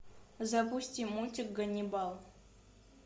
запусти мультик ганнибал